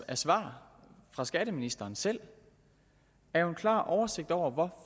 af svar fra skatteministeren selv er jo en klar oversigt over hvor